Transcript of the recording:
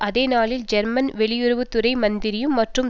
அதே நாளில் ஜெர்மன் வெளியுறவு துறை மந்திரியும் மற்றும்